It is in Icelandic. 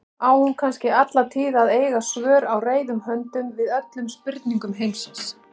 Á hún kannski alla tíð að eiga svör á reiðum höndum við öllum spurningum heimsins?